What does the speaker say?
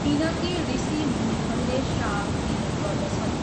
किनकि ॠषी मुनिहरूले श्राप दिने गर्दछन्।